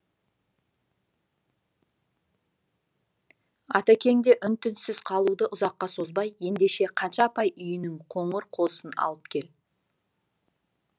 атекең де үн түнсіз қалуды ұзаққа созбай ендеше қанша апай үйінің қоңыр қозысын алып кел